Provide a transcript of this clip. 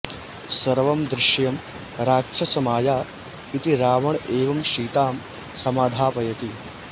सर्वं दृश्यं राक्षसमाया इति रावण एव सीतां समाधापयति